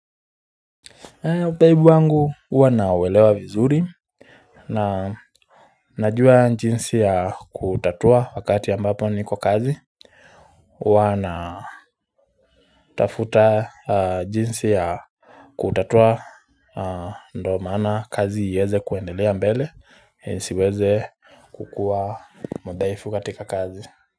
Udhaifu wangu huwa nauelewa vizuri Najua jinsi yakuutatua wakati ambapo niko kazi huwa natafuta jinsi ya kutatua ndo maana kazi iweze kuendelea mbele siweze kukua mudhaifu katika kazi.